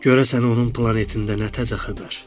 Görəsən onun planetində nə təzə xəbər?